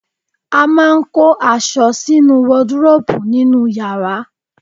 A máa ń kó aṣọ sínú waduróbù nínú yàrá